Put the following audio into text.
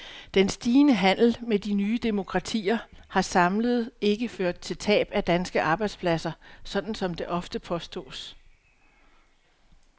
Den stigende handel med de nye demokratier har samlet ikke ført til tab af danske arbejdspladser, sådan som det ofte påstås.